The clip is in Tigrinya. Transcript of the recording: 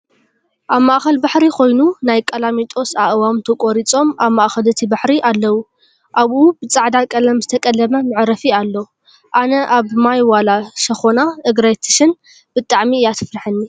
ኣብ ማእከል ባሕሪ ኮይኑ ናይ ቃላሚጦስ ኣእዋም ተቆሪፆም ኣብ ማእኸል እቲ ባሕሪ ኣለው። ኣብኡ ብፃዕዳ ቀለም ዝተቀለመ መዕረፊ ኣሎ። ኣነ ኣብ ማይ ዋላ ሸኾና እግረይ ትሽን ብጣዕሚ እያ ተፍረሐኒ።